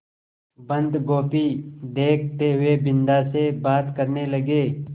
बन्दगोभी देखते हुए बिन्दा से बात करने लगे